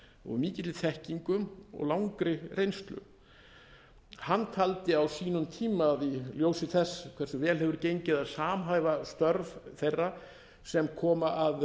og af mikilli þekkingu og langri reynslu hann taldi á sínum tíma að í ljósi þess hversu vel hefur gengið að samhæfa störf þeirra sem koma að